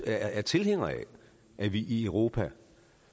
er tilhænger af at vi i europa